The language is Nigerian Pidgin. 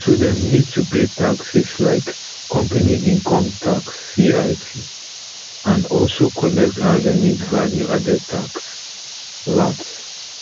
so dem need to pay taxes like company income tax cit and also collect and remit value added tax vat